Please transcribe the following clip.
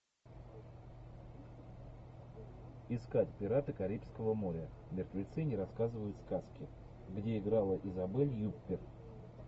искать пираты карибского моря мертвецы не рассказывают сказки где играла изабель юппер